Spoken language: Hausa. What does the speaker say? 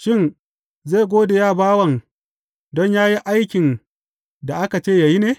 Shin, zai gode wa bawan don yă yi aikin da aka ce ya yi ne?